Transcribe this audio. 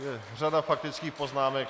Je řada faktických poznámek.